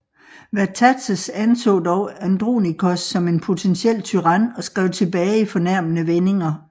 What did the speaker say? Vatatzes anså dog Andronikos som en potentiel tyran og skrev tilbage i fornærmende vendinger